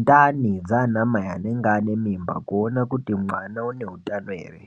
ndani dzana mai anenga ane mimba kuona kuti mwana une utano ere.